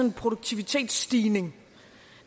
en produktivitetsstigning